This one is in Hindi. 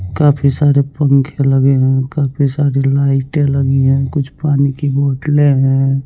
काफी सारे पंखे लगे हैं काफी सारी लाइटें लगी है कुछ पानी की बोटलें हैं।